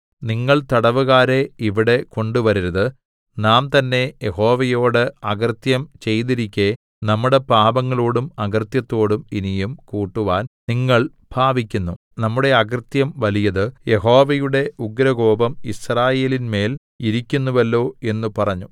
നിങ്ങൾ തടവുകാരെ ഇവിടെ കൊണ്ടുവരരുത് നാം തന്നേ യഹോവയോട് അകൃത്യം ചെയ്തിരിക്കെ നമ്മുടെ പാപങ്ങളോടും അകൃത്യത്തോടും ഇനിയും കൂട്ടുവാൻ നിങ്ങൾ ഭാവിക്കുന്നു നമ്മുടെ അകൃത്യം വലിയത് യഹോവയുടെ ഉഗ്രകോപം യിസ്രായേലിന്മേൽ ഇരിക്കുന്നുവല്ലോ എന്ന് പറഞ്ഞു